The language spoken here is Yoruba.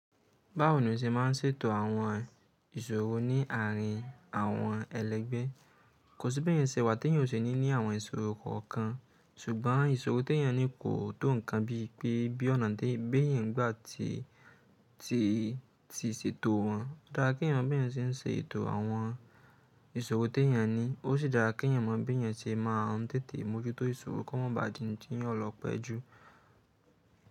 Báwo ni o se ma ń ṣètò àwọn ìṣòro ní àárín àwọn ẹlẹ́gbẹ́? Kò sí bí ẹ̀yàn ṣe wà tí èyàn ò ní ní àwọn ìṣòro kankan, ṣùgbọ́n ìṣòro tí èyàn ní kò tó ǹkan bí i pé bí ọ̀nà tí bẹ́ẹ̀ eyan bá ti, ti, ti ṣètò wọn. Ó dára kí ẹ̀yàn mọ̀ bí ẹyan tí ń ṣe ètò àwọn ìṣòro tí èyàn ní. Ó sì dára kí ẹ̀yàn mọ̀ bí ẹyan tí máa n tètè mójútó ìṣòro kí wọ́n má ba à di n tí ọ lọ pẹ́ẹ́ ju.